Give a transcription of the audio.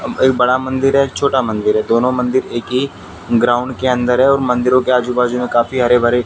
एक बड़ा मंदिर है एक छोटा मंदिर है दोनों मंदिर एक ही ग्राउंड के अंदर है और मंदिरों के आजु बाजू में काफी हरे भरे --